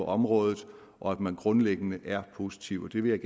området og at man grundlæggende er positiv det vil